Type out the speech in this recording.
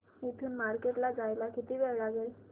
इथून मार्केट ला जायला किती वेळ लागेल